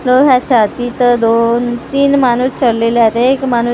नव्हं याच्या तिथं दोन तीन माणूसं चाललेले आहे एक माणूसं--